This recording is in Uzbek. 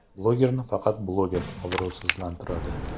Blogerni faqat bloger obro‘sizlantiradi.